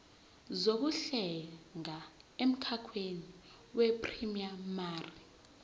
zokuhlenga emkhakheni weprayimari